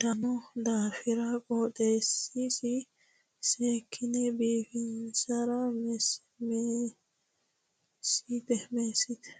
daano daafira qooxeessasi seekkine biifisira meessite.